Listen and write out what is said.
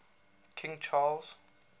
king charles